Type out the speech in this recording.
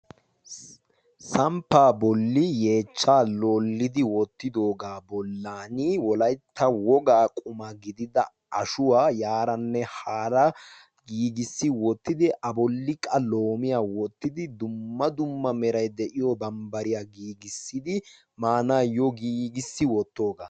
Samppa bolli yeechcha lolidi woottidoogaa bollan wolaitta wogaa quma gidida ashuwaa yaaranne haara giigissi woottidi aboliqa loomiyaa woottidi dumma dumma merai de'iyo bambbariyaa giigissidi maanaayyo giigissi woottoogaa.